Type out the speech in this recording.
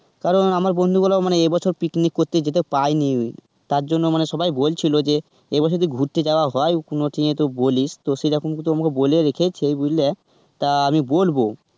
কারণ আমার বন্ধুগুলো মানে এ বছর picnic করতে যেতে পাইনি তার জন্য মানে সবাই বলছিল যে এ বছর যদি ঘুরতে যাওয়া যায় কোনো ইয়েতে তো বলিস সেরকমটা আমায় বলে রেখেছে বুঝলে, তা আমি বলব.